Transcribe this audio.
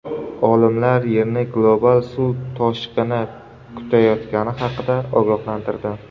Olimlar Yerni global suv toshqini kutayotgani haqida ogohlantirdi.